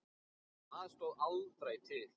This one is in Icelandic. Það stóð aldrei til.